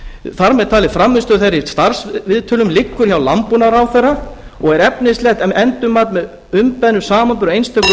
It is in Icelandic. þar með talið frammistaða þeirra í starfsviðtölum liggur hjá landbúnaðarráðherra og er efnislegt endurmat með umbeðnum samanburði á einstökum umsækjendum